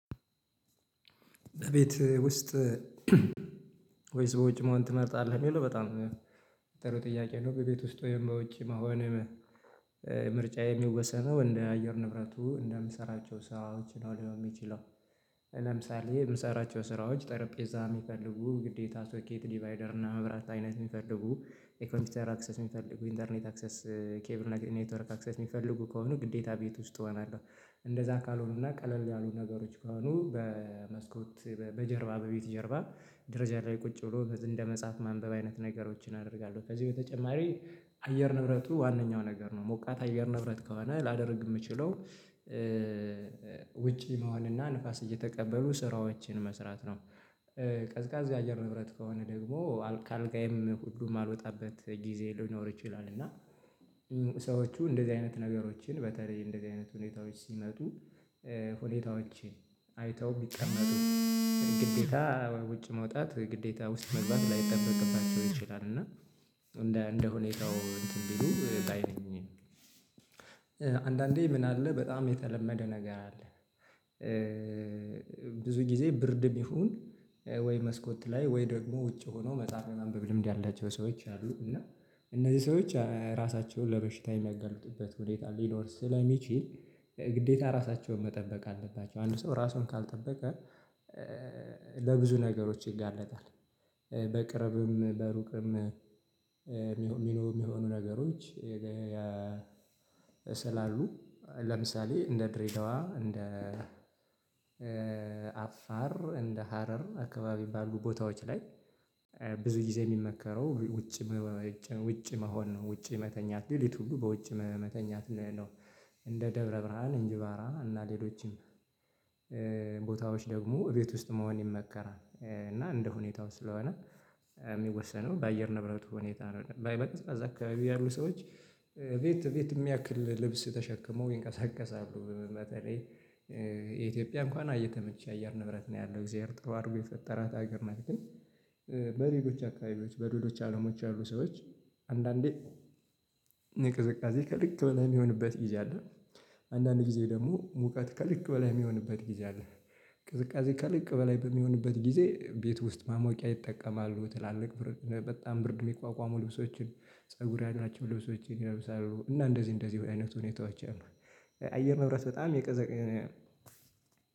ቤት ውስጥ ወይስ ውጭ መሆን ትመርጣለህ? የሚለው በጣም ጥሩ ጥያቄ ነው በቤት ውስጥ ወይም በውጭ መሆን ምርጫ የሚወሰነው እንደ አየር ንብረቱ እንደምሰራቸው ስራዎች ነው ሊሆን ሚችለው ለምሳሌ የምሰራቸው ስራዎች ጠረጴዛ የሚፈልጉ ግዴታ ሶኬት ዲቫይደር እና መብራት አይነት ሚፈልጉ የኮምፒውተር አክሰስ የሚፈልጉ ኢንተርኔት አክሰስ ኬብል ኔትወርክ አክሰስ የሚፈልጉ ከሆኑ ግዴታ ቤት ውስጥ እሆናለሁ። እንደዛ ካልሆኑ ና ቀለል ያሉ ነገሮች ከሆኑ በመስኮት በጀርባ በቤት ጀርባ ድረጃ ላይ ቁጭ ብሎ እንደ መጽሐፍ ማንበብ አይነት ነገሮችን አደርጋለሁ። ከዚህ በተጨማሪ አየር ንብረቱ ዋነኛው ነገር ነው ሞቃት አየር ንብረት ከሆነ ላደርግ ምችለው ውጪ መሆንና ንፋስ እየተቀበሉ ስራዎችን መስራት ነው። ቀዝቃዛ አየር ንብረት ከሆነ ደግሞ አልካ ከአልጋዬም ሁሉ ማልወጣበት ጊዜ ሊኖር ይችላል። እና ሰዎቹ እንደዚህ አይነት ነገሮችን በተለይ እንደዚህ አይነት ሁኔታዎች ሲመጡ ሁኔታዎችን አይተው ቢቀመጡ ግዴታ ውጭ መውጣት ግዴታ ውስጥ መግባት ላይጠበቅባቸው ይችላል። እና እንደ እንደ ሁኔታው እንትን ቢሉ ባይ ነኝ። አንዳንዴ ምን አለ በጣም የተለመደ ነገር አለ። ብዙ ጊዜ ብርድ ቢሆን ወይ መስኮት ላይ ወይ ደግሞ ውጭ ሆኖ መጽሐፍ የማንበብ ልምድ ያላቸው ሰዎች አሉ እና እነዚህ ሰዎች ራሳቸውን ለበሽታ የሚያጋልጡበት ሁኔታ ሊኖር ስለሚችል ግዴታ ራሳቸውን መጠበቅ አለባቸው። አንድ ሰው ራሱን ካልጠበቀ ለብዙ ነገሮች ይጋለጣል። በቅርብም በሩቅም የሚሆኑ ነገሮች ያ ስላሉ ለምሳሌ እንደ ድሬዳዋ እንደ አፋር እንደ ሀረር አካባቢ ባሉ ቦታዎች ላይ ብዙ ጊዜ የሚመከረው ውጭ ውጭ መሆን ነው። ውጭ መተኛት ሌሊት ሁሉ በውጭ መተኛት ነው። እንደ ደብረ ብርሃን እንጅባራ እና ሌሎችም ቦታዎች ደግሞ እቤት ውስጥ መሆን ይመከራል። እና እንደ ሁኔታው ስለሆነ የሚወሰነው በአየር ነብረት ሁኔታ አይደለም በይበልጥ ከዛ አካባቢ ያሉ ሰዎች ቤት ቤት የሚያክል ልብስ ተሸክመው ይንቀሳቀሳሉ። በተለይ የኢትዮጵያ እንኳን እየተመቸ የአየር ንብረት ነው ያለው እግዚአብሔር ጥሩ አድርጎ ቤት የፈጠራት አገር ናት። ግን በሌሎች አካባቢዎች በሌሎች አለሞች ያሉ ሰዎች አንዳንዴ ቅዝቃዜ ከልክ በላይ ሚሆንበት ጊዜ አለ። አንዳንድ ጊዜ ደግሞ ሙቀት ከልክ በላይ ሚሆንበት ጊዜ አለ። ቅዝቃዜ ከልክ በላይ በሚሆንበት ጊዜ ቤት ውስጥ ማሞቂያ ይጠቀማሉ ትላልቅ በጣም ብርድ የሚቋቋሙ ልብሶችን ፀጉር ያላቸው ልብሶችን ይለብሳሉ እና እንደዚህ እንደዚህ አይነት ሁኔታዎች አሉ። አየር ንብረት በጣም የቀዘቀዘ